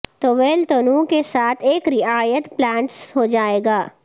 طویل تنوں کے ساتھ ایک رعایت پلانٹس ہو جائے گا